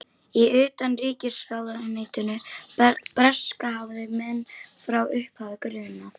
Í utanríkisráðuneytinu breska hafði menn frá upphafi grunað